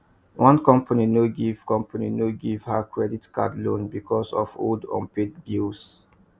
one company no give company no give her credit card loan because of old unpaid bills